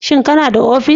Shin kana da ofis.